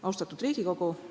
Austatud Riigikogu!